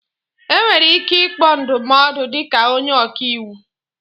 Enwere ike ịkpọ ndụmọdụ dịka onye ọka iwu